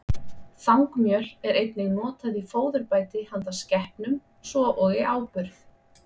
Þangmjöl er einnig notað í fóðurbæti handa skepnum, svo og í áburð.